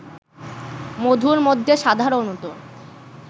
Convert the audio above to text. মধুর মধ্যে সাধারণত